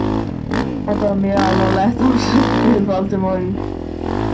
Þetta var mjög alvarleg ásökun- greip Valdimar fram í.